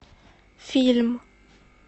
фильм